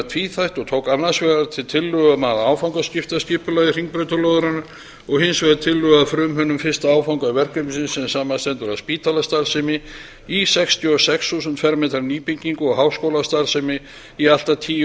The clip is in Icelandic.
tvíþætt og tók annars vegar til tillögu að áfangaskiptu skipulagi hringbrautarlóðarinnar og hins vegar tillögu að frumhönnun fyrsta áfanga verkefnisins sem samanstendur af spítalastarfsemi í sextíu og sex þúsund fermetra nýbyggingu og háskólastarfsemi í allt að tíu